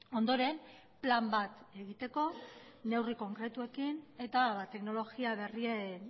ondoren plan bat egiteko neurri konkretuekin eta teknologia berrien